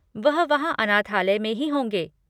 वह वहाँ अनाथालय में ही होंगे।